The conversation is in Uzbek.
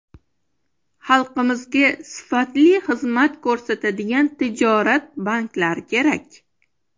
Xalqimizga sifatli xizmat ko‘rsatadigan tijorat banklari kerak.